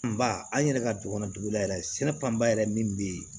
Ba an yɛrɛ ka dugu kɔnɔ dugu la yɛrɛ sɛnɛ fanba yɛrɛ min bɛ yen